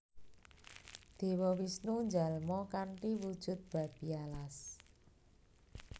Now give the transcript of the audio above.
Dewa Wisnu njalma kanthi wujud Babi Alas